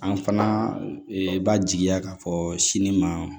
An fana b'a jigiya k'a fɔ sini ma